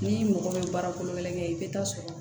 Ni mɔgɔ bɛ baara kolo kɛ i bɛ taa sɔrɔ